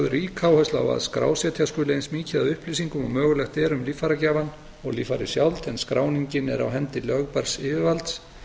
rík áhersla á að skrásetja skuli eins mikið af upplýsingum og mögulegt er um líffæragjafann og líffærið sjálft en skráningin er á hendi lögbærs yfirvalds